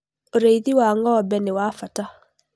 ũrĩithi wa ng'ombe nĩwa bata